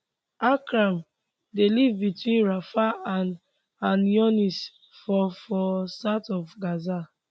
akram dey live between rafah and khan younis for for south of gaza